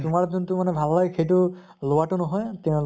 তোমাৰ যোনটো মানে ভাল লাগে সেইটো লোৱাতো নহয়